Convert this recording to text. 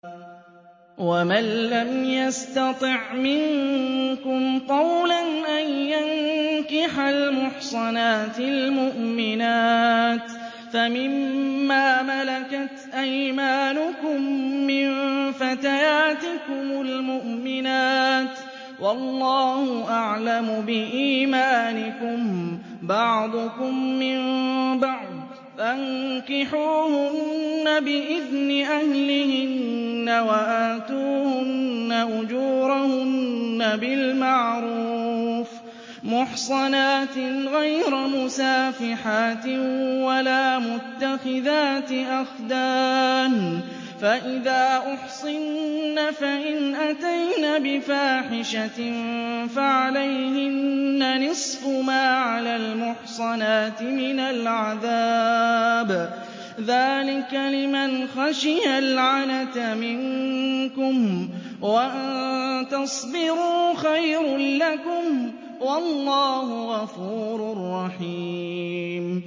وَمَن لَّمْ يَسْتَطِعْ مِنكُمْ طَوْلًا أَن يَنكِحَ الْمُحْصَنَاتِ الْمُؤْمِنَاتِ فَمِن مَّا مَلَكَتْ أَيْمَانُكُم مِّن فَتَيَاتِكُمُ الْمُؤْمِنَاتِ ۚ وَاللَّهُ أَعْلَمُ بِإِيمَانِكُم ۚ بَعْضُكُم مِّن بَعْضٍ ۚ فَانكِحُوهُنَّ بِإِذْنِ أَهْلِهِنَّ وَآتُوهُنَّ أُجُورَهُنَّ بِالْمَعْرُوفِ مُحْصَنَاتٍ غَيْرَ مُسَافِحَاتٍ وَلَا مُتَّخِذَاتِ أَخْدَانٍ ۚ فَإِذَا أُحْصِنَّ فَإِنْ أَتَيْنَ بِفَاحِشَةٍ فَعَلَيْهِنَّ نِصْفُ مَا عَلَى الْمُحْصَنَاتِ مِنَ الْعَذَابِ ۚ ذَٰلِكَ لِمَنْ خَشِيَ الْعَنَتَ مِنكُمْ ۚ وَأَن تَصْبِرُوا خَيْرٌ لَّكُمْ ۗ وَاللَّهُ غَفُورٌ رَّحِيمٌ